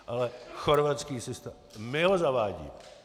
Ale chorvatský systém - my ho zavádíme.